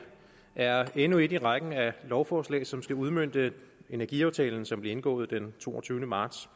er endnu et i rækken af lovforslag som skal udmønte energiaftalen som blev indgået den toogtyvende marts